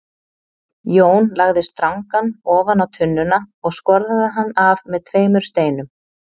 Jón lagði strangann ofan á tunnuna og skorðaði hann af með tveimur steinum.